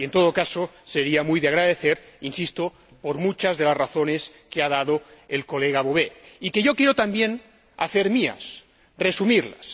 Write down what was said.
Y, en todo caso, sería muy de agradecer —insisto— por muchas de las razones que ha dado el señor Bové y que yo quiero también hacer mías, resumiéndolas.